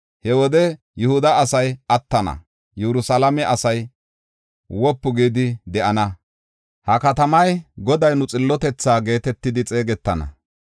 He wode Yihuda asay attana; Yerusalaame asay wopu gidi de7ana. Ha katamay, ‘Goday nu Xillotethaa’ geetetidi xeegetana.